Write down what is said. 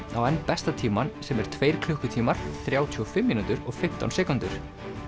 á enn besta tímann sem er tveir klukkutímar þrjátíu og fimm mínútur og fimmtán sekúndur